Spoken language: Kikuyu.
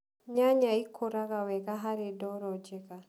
nyanya ĩkũraga wega harĩ ndoro njega